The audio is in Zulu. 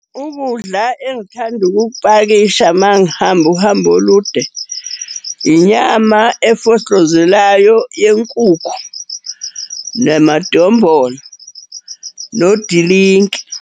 Ukudla engithanda ukukupakisha uma ngihamba uhambo olude, inyama efohlozelayo yenkukhu, namadombolo, nodilinki.